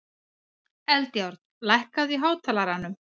Eldjárn, lækkaðu í hátalaranum.